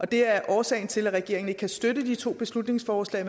det er årsagen til at regeringen ikke kan støtte de to beslutningsforslag